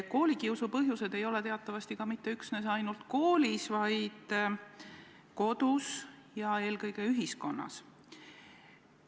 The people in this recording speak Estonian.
Koolikiusu põhjused ei ole teatavasti ka mitte üksnes ainult koolis, vaid ka kodus ja eelkõige ühiskonnas.